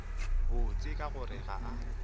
botse ka gore ga a